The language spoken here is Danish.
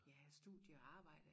Ja studie og arbejde